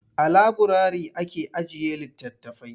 A laburari ake ajiye litattafai.